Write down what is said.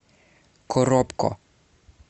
коробко